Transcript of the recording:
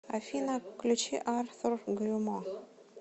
афина включи артур грюмо